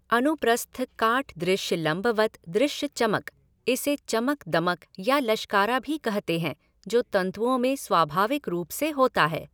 अनुप्रस्थ काट दृश्य लंबवत् दृश्य चमकः इसे चमक दमक या लश्कारा भी कहते हैं जो तंतुओं में स्वाभाविक रूप से होता है।